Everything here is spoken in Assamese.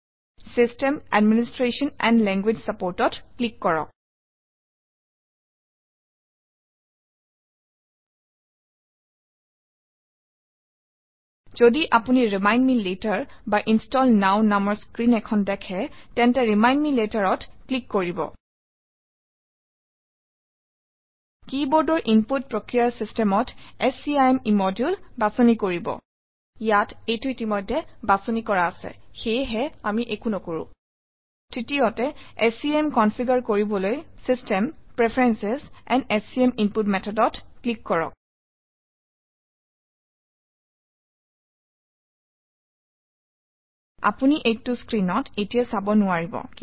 system administration and language Support অত ক্লিক কৰক যদি আপুনি ৰিমাইণ্ড মে লেটাৰ বা ইনষ্টল নৱ নামৰ স্ক্ৰীন এখন দেখে তেন্তে ৰিমাইণ্ড মে later অত ক্লিক কৰিব Keyboard অৰ ইনপুট প্ৰক্ৰিয়াৰ চিষ্টেমত scim ইম্মদুলে বাছনি কৰিব ইয়াত এইটো ইতিমধ্যে বাছনি কৰা আছে সেয়েহে আমি একো নকৰোঁ তৃতীয়তে স্কিম কনফিগাৰ কৰিবলৈ system preferences and SCIM input method অত ক্লিক কৰক আপুনি এইটো স্ক্ৰীনত এতিয়াই চাব নোৱাৰিব